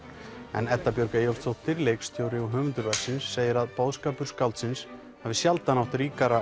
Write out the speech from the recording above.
en Edda Björg Eyjólfsdóttir leikstjóri og höfundur verksins segir að boðskapur skáldsins hafi sjaldan átt ríkara